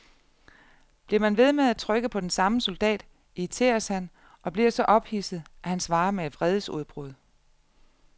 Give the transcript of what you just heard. Bliver man ved med at trykke på den samme soldat, irriteres han og bliver så ophidset, at han svarer med vredesudbrud.